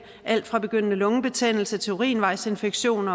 alt fra begyndende lungebetændelse til urinvejsinfektion